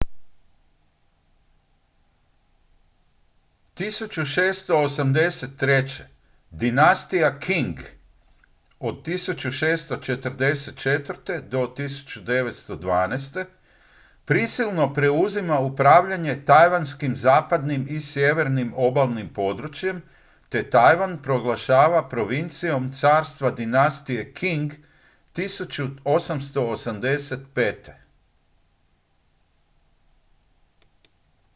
1683. dinastija qing 1644. - 1912. prisilno preuzima upravljanje tajvanskim zapadnim i sjevernim obalnim područjem te tajvan proglašava provincijom carstva dinastije qing 1885